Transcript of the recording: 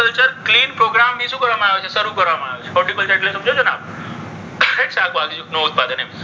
Clean programme ને શું કરવામાં આવે છે? શરૂ કરવામાં આવ્યો છે. સમજો છો ને આપ? શાકભાજીનું ઉત્પાદન એમ.